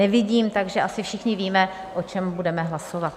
Nevidím, takže asi všichni víme, o čem budeme hlasovat.